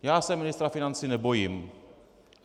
Já se ministra financí nebojím.